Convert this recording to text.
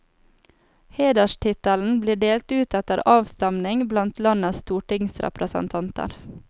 Hederstittelen blir delt ut etter avstemming blant landets stortingsrepresentanter.